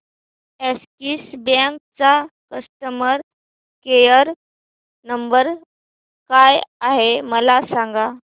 Axis bank चा customer care number काय आहे मला सांगा